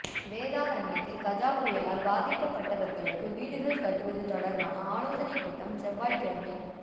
வேதாரண்யத்தில் கஜா புயலால் பாதிக்கப்பட்டவா்களுக்கு வீடுகள் கட்டுவது தொடா்பான ஆலோசனைக் கூட்டம் செவ்வாய்க்கிழமை